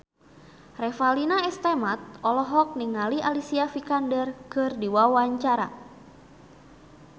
Revalina S. Temat olohok ningali Alicia Vikander keur diwawancara